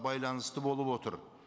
байланысты болып отыр